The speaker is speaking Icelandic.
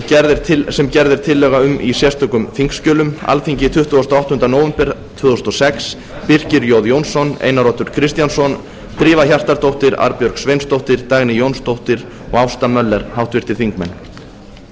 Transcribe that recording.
sem gerð er tillaga um í sérstökum þingskjölum alþingi tuttugasta og áttunda nóvember tvö þúsund og sex birkir j jónsson einar oddur kristjánsson drífa hjartardóttir arnbjörg sveinsdóttir dagný jónsdóttir og ásta möller